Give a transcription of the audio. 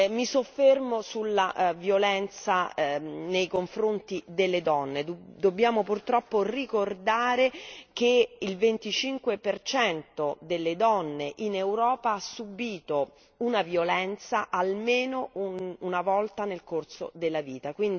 Mi soffermo sulla violenza nei confronti delle donne dobbiamo purtroppo ricordare che il 25 per cento delle donne in Europa ha subito una violenza almeno una volta nel corso della vita